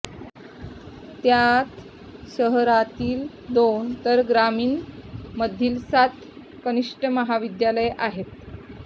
त्यात शहरातील दोन तर ग्रामिणमधील सात कनिष्ठ महाविद्यालये आहेत